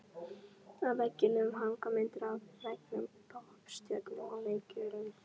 Á veggjunum hanga myndir af frægum poppstjörnum og leikurum.